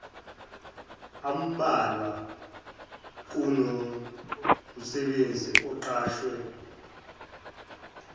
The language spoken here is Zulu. ambalwa kunomsebenzi oqashwe